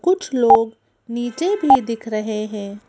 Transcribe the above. कुछ लोग नीचे भी दिख रहे हैं।